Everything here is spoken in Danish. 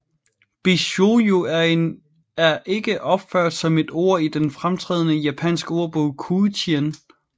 Bishoujo er ikke opført som et ord i den fremtrædende japansk ordbog Koujien